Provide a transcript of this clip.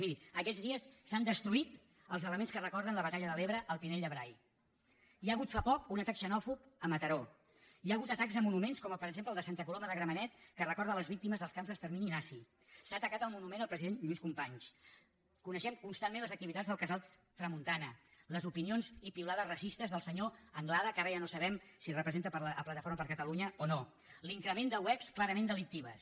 miri aquests dies s’han destruït els elements que recorden la batalla de l’ebre al pinell de brai hi ha hagut fa poc un atac xenòfob a mataró hi ha hagut atacs a monuments com per exemple el de santa coloma de gramenet que recorda les víctimes dels camps d’extermini nazi s’ha atacat el monument al president lluís companys coneixem constantment les activitats del casal tramuntana les opinions i piulades racistes del senyor anglada que ara ja no sabem si representa la plataforma per catalunya o no l’increment de webs clarament delictives